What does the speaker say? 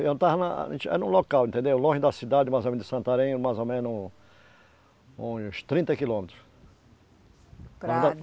Eu estava na no local, entendeu? longe da cidade, mais ou menos de Santarém, mais ou menos uns trinta quilômetros.